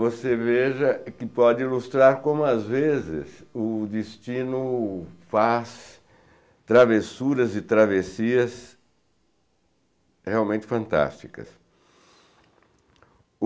Você veja que pode ilustrar como, às vezes, o destino faz travessuras e travessias realmente fantásticas.